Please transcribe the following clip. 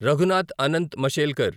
Raghunath Anant Mashelkar